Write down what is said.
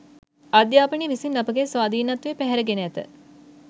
අධ්‍යාපනය විසින් අපගේ ස්වාධීනත්වය පැහැරගෙන ඇත